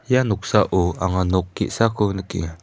ia noksao anga nok ge·sako nikenga.